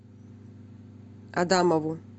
адамову